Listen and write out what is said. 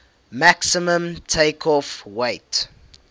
maximum takeoff weight